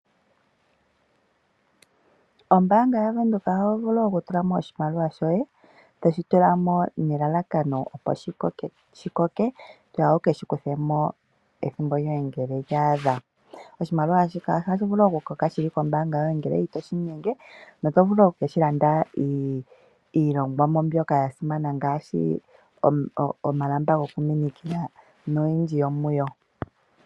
Ombaanga yaVenduka oho vulu oku tulamo oshimaliwa shoye, to shi tulamo ne lalakano opo shikoke, toya wu ke shikuthemo ethimbo lyoye ngele lya adha. Oshimaliwa ohashi vulu oku koka shili kombaanga yoye ngele ito shi gumu, no otovulu oku keshi landa iilongwamo mbyoka yasimana ngaashi omalamba gokumininkila noyindji yo mu yo.